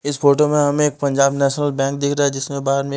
इस फोटो में हमें एक पंजाब नेशनल बैंक दिख रहा है जिसमें बाहर में--